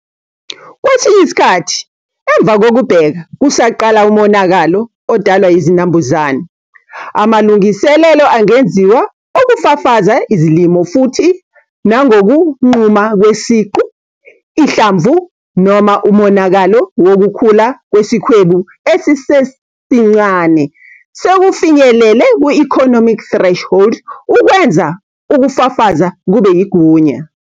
Kwesinye isikhathi emva kokubheka kusaqala umonakalo odalwa yizinambuzane, amalungiselelo angenziwa okufafaza izilimo futhi nangokunquma kwesiqu, ihlamvu, noma umonakalo wokukhula kwesikhwebu esisesincane sekufinyelele ku-economic threshold ukwenza ukufafaza kube yigunya.